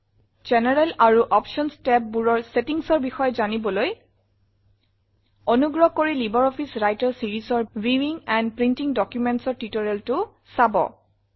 general আৰু options tabবোৰৰ settingsৰ বিষয়ে জানিবলৈ ল্টপাউচেগ্ট অনুগ্ৰহ কৰি লাইব্ৰঅফিছ ৰাইটাৰ seriesৰ ভিউইং এণ্ড প্ৰিণ্টিং Documentsৰ tutorialটো চাব